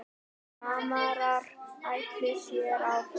Framarar ætla sér áfram